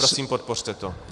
Prosím, podpořte to.